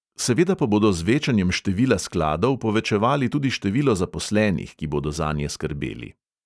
Seveda pa bodo z večanjem števila skladov povečevali tudi število zaposlenih, ki bodo zanje skrbeli.